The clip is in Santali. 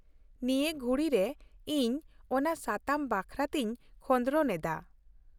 -ᱱᱤᱭᱟᱹ ᱜᱷᱩᱲᱤᱨᱮ ᱤᱧ ᱚᱱᱟ ᱥᱟᱛᱟᱢ ᱵᱟᱠᱷᱨᱟᱛᱮᱧ ᱠᱷᱚᱸᱫᱨᱚᱱᱮᱫᱟ ᱾